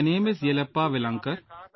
My name is Yellappa Velankar